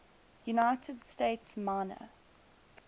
united states minor